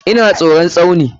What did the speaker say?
Ina tsoron Tsauni.